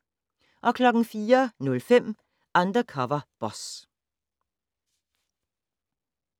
04:05: Undercover Boss